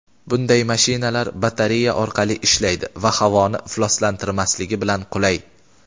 Bunday mashinalar batareya orqali ishlaydi va havoni ifloslantirmasligi bilan qulay.